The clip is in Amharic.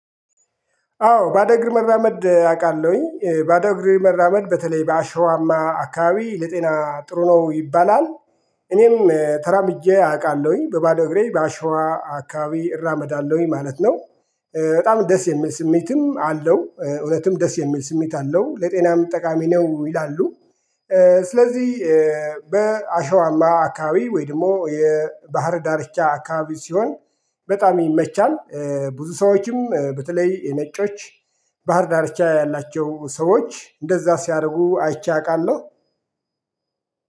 አዎ ባዶ እግር መራመድ አቃለውኝ ባዶ እግሬ መራመድ በተለይ በአሸዋማ አካባቢ ለጤና ጥሩ ነው ይባላል እኔም ተራምጄ አቃለውኝ በባዶ እግሬ በአሸዋ አካባቢ እራመዳለውኝ ማለት ነው። በጣም ደስ የሚል ስሜትም አለው እውነትም ደስ የሚል ስሜት አለው ለጤናም ጠቃሚ ነው ይላሉ። ስለዚ በአሸዋማ አካባቢ ወይደሞ የባህር ዳርቻ አካባቢ ሲሆን በጣም ይመቻል። ብዙ ሰዎችም በተለይ ነጮች ባህር ዳርቻ ያላቸው ሰዎች እንደዛ ሲያረጉ አይቼ አቃለው